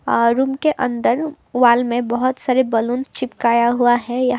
और रूम के अंदर वॉल में बहुत सारे बैलून चिपकाया हुआ है यहां।